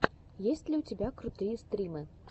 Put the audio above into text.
есть ли у тебя крутые стримы